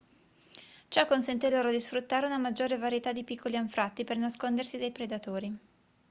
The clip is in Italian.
ciò consente loro di sfruttare una maggiore varietà di piccoli anfratti per nascondersi dai predatori